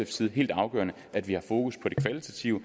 side helt afgørende at vi har fokus på det kvalitative